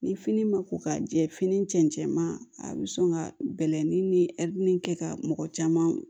Ni fini ma ko ka jɛ fini cɛncɛn a bɛ sɔn ka bɛlɛn ni kɛ ka mɔgɔ caman